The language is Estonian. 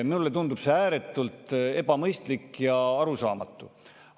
Mulle tundub see ääretult ebamõistlik ja arusaamatu.